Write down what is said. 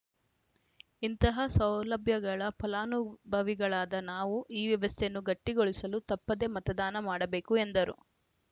ಇಂತಹ ಸೌಲಭ್ಯಗಳ ಫಲಾನುಭವಿಗಳಾದ ನಾವು ಈ ವ್ಯವಸ್ಥೆಯನ್ನು ಗಟ್ಟಿಗೊಳಿಸಲು ತಪ್ಪದೆ ಮತದಾನ ಮಾಡಬೇಕು ಎಂದರು